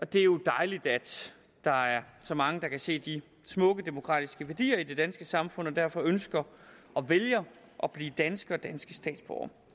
det er jo dejligt at der er så mange der kan se de smukke demokratiske værdier i det danske samfund og derfor ønsker og vælger at blive danske